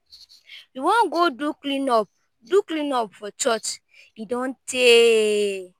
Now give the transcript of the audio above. we wan go do clean up do clean up for church e don tey.